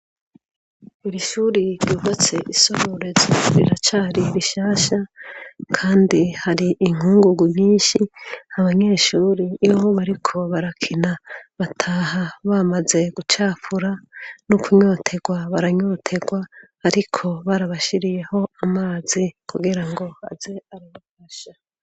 Iri shuri ryubatse i Sororezo riracari rishasha kandi hari inkungugu nyinshi abanyeshure iyo bariko barakina bataha bamaze gucafura no kunyoterwa baranyoterwa ariko barabashiriyeho amazi kugira ngo baze baranywa.